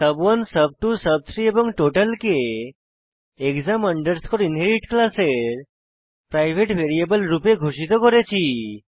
সুব1 সুব2 সুব3 এবং টোটাল কে এক্সাম আন্ডারস্কোর ইনহেরিট ক্লাসের প্রাইভেট ভ্যারিয়েবল রূপে ঘোষিত করেছি